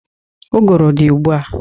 Ụgụrụ dị ụgbụ a.